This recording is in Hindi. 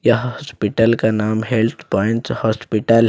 यह हॉस्पिटल का नाम हेल्थ प्वाइंट हॉस्पिटल है।